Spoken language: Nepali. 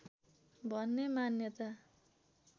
भन्ने मान्यता